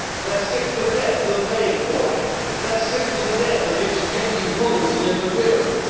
they are sick to death of paying for it they are sick to death of its petty rules and interference